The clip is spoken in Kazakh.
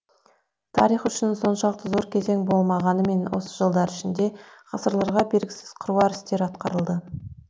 тарих үшін соншалықты зор кезең болмағанымен осы жылдар ішінде ғасырларға бергісіз қыруар істер атқарылды